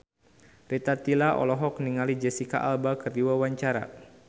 Rita Tila olohok ningali Jesicca Alba keur diwawancara